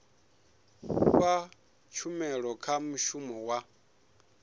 fha tshumelo kha mushumi wa